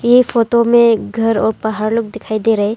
ऐ photo में घर और पहाड़ लोग दिखाई दे रहा है।